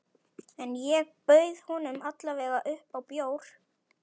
En ég bauð honum alla vega upp á bjór.